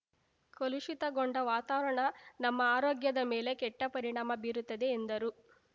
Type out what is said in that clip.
ಕಲುಷಿತಗೊಂಡ ವಾತಾವರಣ ನಮ್ಮ ಆರೋಗ್ಯದ ಮೇಲೆ ಕೆಟ್ಟಪರಿಣಾಮ ಬೀರುತ್ತದೆ ಎಂದರು